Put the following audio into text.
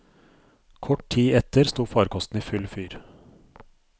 Kort tid etter sto farkosten i full fyr.